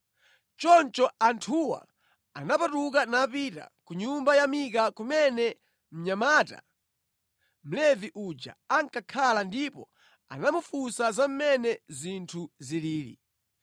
Choncho anthuwa anapatuka napita ku nyumba ya Mika kumene mnyamata, Mlevi uja ankakhala ndipo anamufunsa za mmene zinthu zilili.